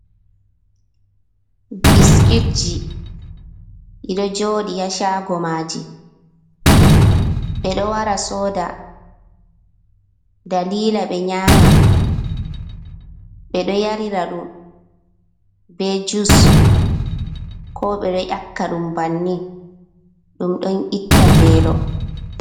Biskitji, ɗi ɗo njoodi haa ''shaago'' maaji, yimɓe ɗo wara cooda daliila ɓe nyaama. Ɓe ɗo yarira ɗum bee juus, koo ɓe ɗo ƴakka ɗum banni, ɗum ɗon itta veelo.